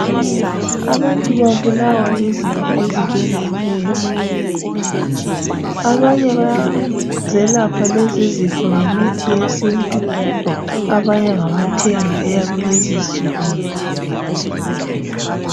Abantu babulawa yizifo ezitshiyeneyo. Abanye bayazelapha lezizifo ngemithi yesintu abanye ngabathenga eyakulezinsuku.